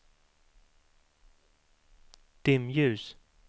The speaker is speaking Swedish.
dimljus